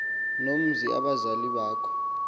nomzi abazali bakho